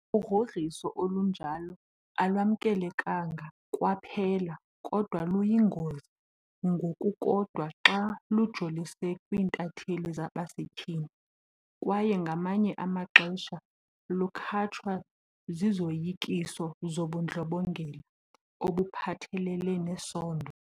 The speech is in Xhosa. Ugrogriso olunjalo alwamkelekanga kwaphela, kodwa luyingozi ngokukodwa xa lujolise kwiintatheli zabasetyhini kwaye ngamanye amaxesha lukhatshwa zizoyikiso zobundlobongela obuphathelele nesondo.